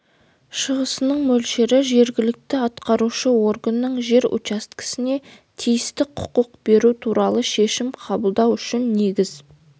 шығасының мөлшері жергілікті атқарушы органның жер учаскесіне тиісті құқық беру туралы шешім қабылдауы үшін негіз